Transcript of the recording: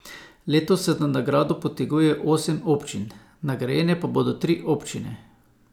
Letos se za nagrado poteguje osem občin, nagrajene pa bodo tri občine.